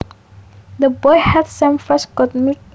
The boy had some fresh goat milk